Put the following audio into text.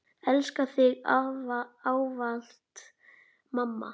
Elska þig ávallt mamma.